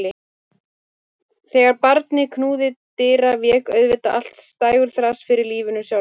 Þegar barnið knúði dyra vék auðvitað allt dægurþras fyrir lífinu sjálfu.